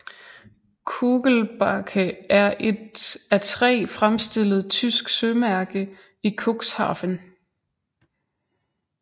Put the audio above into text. Kugelbake er et af træ fremstillet tysk sømærke i Cuxhaven